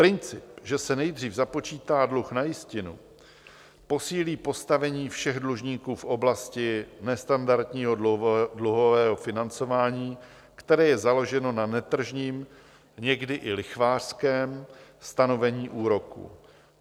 Princip, že se nejdřív započítá dluh na jistinu, posílí postavení všech dlužníků v oblasti nestandardního dluhového financování, které je založeno na netržním, někdy i lichvářském stanovení úroků.